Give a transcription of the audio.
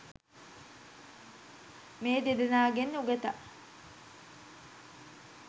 මේ දෙදෙනාගෙන් උගතා